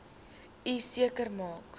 u seker maak